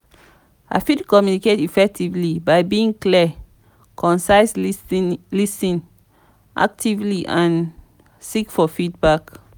i fit communicate effectively by being clear concise lis ten actively and seek for feedback.